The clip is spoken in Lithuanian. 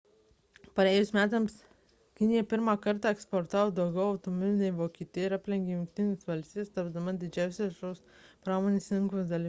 praėjusiais metais kinija pirmą kartą eksportavo daugiau automobilių nei vokietija ir aplenkė jungtines valstijas tapdama didžiausia šios pramonės rinkos dalimi